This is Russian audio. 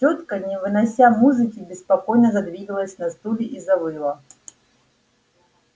тётка не вынося музыки беспокойно задвигалась на стуле и завыла